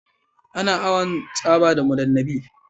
Ana awan tsaba da mudan nami